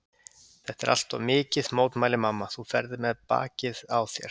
Þetta er allt of mikið, mótmælir mamma, þú ferð með bakið á þér.